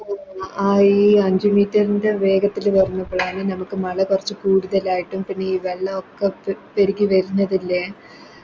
ആ ഈ അഞ്ച് Meter ൻറെ വേഗത്തില് വരുന്നതാണ് നമുക്ക് മല കൊറച്ച് കൂടുതലായിട്ടും പിന്നെ ഈ വെള്ളൊക്കെ പെരുകി വരുന്നതില്ലേ